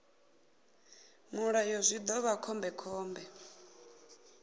mulayo zwi ḓo vha khombekhombe